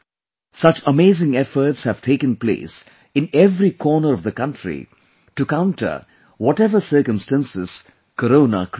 Such amazing efforts have taken place in every corner of the country to counter whatever circumstances Corona created